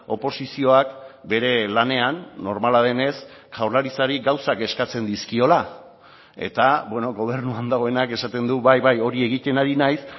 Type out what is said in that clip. oposizioak bere lanean normala denez jaurlaritzari gauzak eskatzen dizkiola eta gobernuan dagoenak esaten du bai bai hori egiten ari naiz